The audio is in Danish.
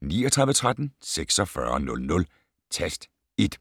39 13 46 00, tast 1.